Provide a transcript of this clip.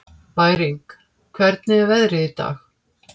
Bæring, hvernig er veðrið í dag?